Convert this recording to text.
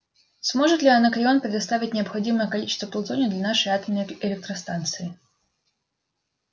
сможет ли анакреон предоставить необходимое количество плутония для нашей атомной электростанции